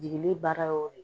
Jigili baaraw de